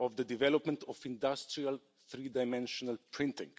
of the development of industrial three-dimensional printing.